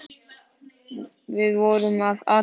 Við vorum að athuga það.